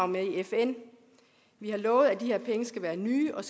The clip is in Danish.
med i fn vi har lovet at de her penge skal være nye og